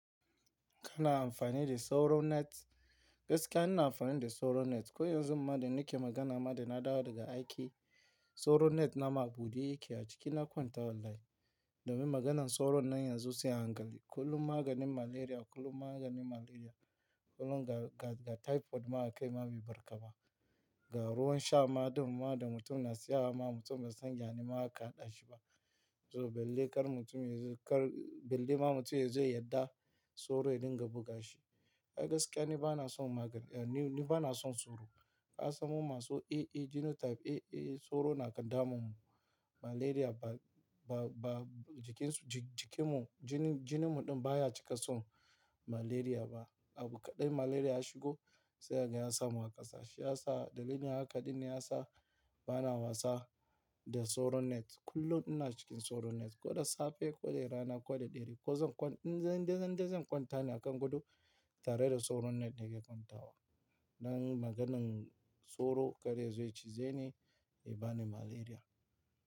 Kana amfani da sauron net? Gaskiya ina amfani da sauron net, ko yanzu ma da nake magana ma da na dawo daga aiki, sauron net na ma a buɗe yake a cikin na kwanta wallahi. Domin maganan nan sauron yanzu sai an gani kullum maganin malaria, kullum maganin malaria, kullum ga typhoid ma aka yi ma bibarka ba. Ga ruwan sha ma ɗin ma da mutum na siya ma mutum bai san yane ma aka haɗashi ba. To, balle kar mutum yazo kar belle ma mutum yazo ya yadda sauro ya dinga buga shi. A gaskiya ni bana son magani, ni bana son sauro. Ka samo masu AA genotype, AA sauro na damunmu. Malaria ba, ba, ba jikin su, jikin mu, jinin, jinin mu ɗin baya cika son malaria ba. Abu kaɗai malaria ya shigo sai haka ya samu a kasashe, ya sa dalilin haka ɗin ne ya sa bana wasa da sauron net kullum ina cikin sauron net, ko da safe ko da rana, ko dare indai zan kwanta ne a kan gado tare da sauron net nake kwantawa. Nayi maganan sauro kar yazo ya cize ni, ya bani malaria.